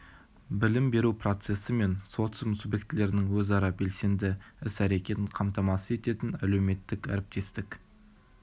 білім беру процесі мен социум субъектілерінің өзара белсенді іс-әрекетін қамтамасыз ететін әлеуметтік әріптестік